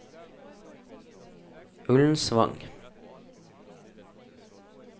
Ullensvang